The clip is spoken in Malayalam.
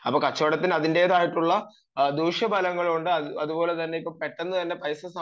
അപ്പൊ കച്ചവടത്തിന് അതിന്റെതായിട്ടുള്ള ദൂഷ്യഫലങ്ങളും ഉണ്ട് അതുപോലെതന്നെ പെട്ടെന്ന് തന്നെ പൈസ സമ്പാദിക്കാൻ